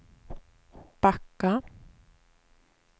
backa